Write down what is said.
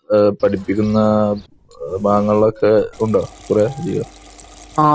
നിങ്ങൾ പഠിപ്പിക്കുന്ന ഭാഗങ്ങളിൽ ഒക്കെയുണ്ടോ